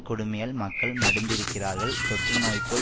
கொடுமையால் மக்கள் மடிந்திருக்கிறார்கள் தொற்றுநோய்போல்